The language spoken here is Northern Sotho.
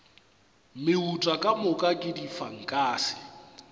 meuta ka moka ke difankase